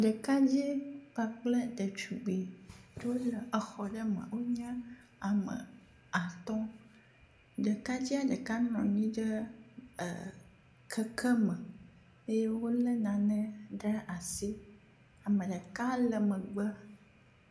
Ɖekadze kpakple ɖetugbui wole exɔ aɖe me, wonye ame woame atɔ̃. Ɖekadzea ɖeka nɔ anyi ɖe keke me eye wole nane ɖe asi. Ame ɖeka le megbe.